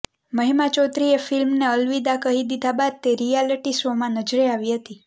મહિમા ચૌધરીએ ફિલ્મને અલવિદા કહી દીધા બાદ તે રિયાલિટી શોમાં નજરે આવી હતી